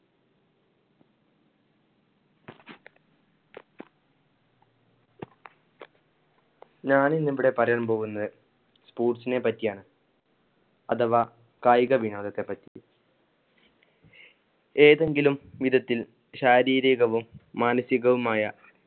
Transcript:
ഞാൻ ഇവിടെ പറയാൻ പോകുന്നത് sports നെ പറ്റിയാണ്. അഥവാ കായിക വിനോദത്തെ പറ്റി. ഏതെങ്കിലും വിധത്തിൽ ശാരീരികവും മാനസികവുമായ